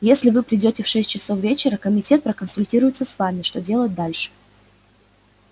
если вы придёте в шесть часов вечера комитет проконсультируется с вами что делать дальше